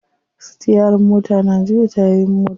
Sitiyarin mota na juya tayoyin mota.